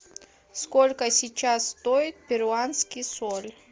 сколько сейчас стоит перуанский соль